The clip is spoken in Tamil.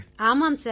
ஆமாம் சார்